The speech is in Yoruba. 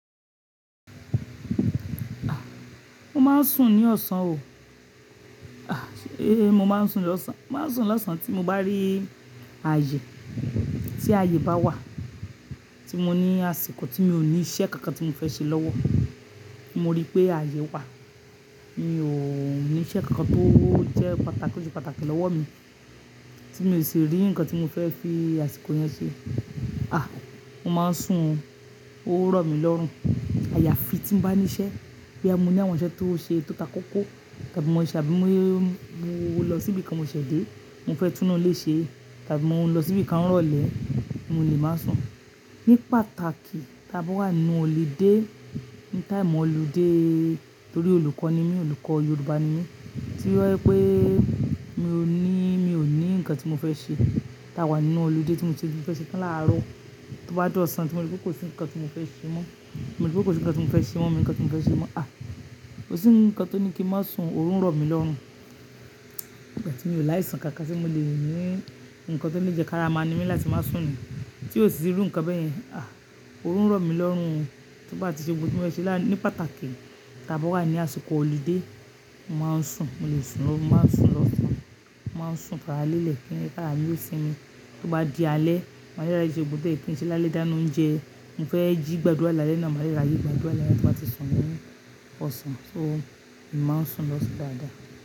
Ah, mo máa ń sùn ní ọ̀sán o. Ah, eh, mo máa ń sùn lọ́sàn, mo máa ń sùn lọ́sàn tí mo bá rí ààyè, tí ààyè bá wà, tí mo ní àsìkò tí mi ò ní iṣẹ́ kankan tí mo fẹ́ ṣe lọ́wọ́. Mo rí pé ààyè wà, mi ò ní iṣẹ́ kankan tó jẹ́ pàtàkì tó ṣe pàtàkì lọ́wọ́ mi, tí mi ò sì rí nǹkan tí mo fẹ́ fi àsìkò yẹn ṣe. Ah, mo máa ń sùn, ó rọ̀ mí lọ́rùn. Àyàfi tí mo bá ní iṣẹ́ bí a mú ní àwọn iṣẹ́ tó ṣe tó tako kó, tàbí mo ṣàbí mo lọ síbi kan mo ṣẹ̀ dé, mo fẹ́ túnáa léṣe, tàbí mo ń lọ síbi kan rọ̀lẹ́, mo lè máa sùn. Ní pàtàkì, tàbí wà nínú holiday, ní time holiday, torí olùkọ́ ni mí, olùkọ́ Yorùbá ni mí, tí ó yẹ pé mi ò ní, mi ò ní nǹkan tí mo fẹ́ ṣe. Tàbí wà nínú holiday tí mo ti rí fẹ́ ṣe tán láàárọ̀, tí ó bá dọ́ ọ̀sán tí mo rí pé kò sí nǹkan tí mo fẹ́ ṣe mọ́, mo rí pé kò sí nǹkan tí mo fẹ́ ṣe mọ́, nǹkan tí mo fẹ́ ṣe mọ́. Ah, kò sí nǹkan tó ní kí mo máa sùn, òórùn rọ̀ mí lọ́rùn. Um tí mi ò láì sùn kankan tí mo le ní nǹkan tó lè jẹ́ káramá ni mi láti máa sùn ni. Tí ò sì ru nǹkan bẹ́ẹ̀ yẹn, ah, òórùn rọ̀ mí lọ́rùn. Tí mo bá ti ṣe ohun tí mo fẹ́ ṣe lán-- ní pàtàkì, tàbí wà ní àsìkò holiday mo máa ń sùn, mo lè sùn lọ́wọ́, mo máa ń sùn lọ́sàn. Mo máa ń sùn faralẹ́lẹ̀ kí ẹ̀mí faralẹ́ yóò sinmi. Tí ó bá di alẹ́, màá rí ra ṣe gbogbo tí o ye kin ṣe lále dáná oúnjẹ. Mo fẹ́ jí gbàdúrà alẹ́ náà, màá rí ra jí gbàdúrà alẹ́ náà tí mo bá ti sùn lẹ́yìn ọ̀sán. So, mo máa ń sùn lọ́sù dáadáa.